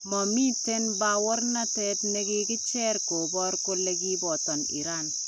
Mamiten bawoornatet nekikicher koboor kole kiboto Iran .